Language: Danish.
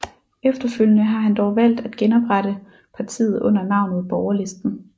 Efterfølgende har han dog valgt at genoprette partiet under navnet Borgerlisten